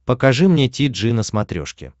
покажи мне ти джи на смотрешке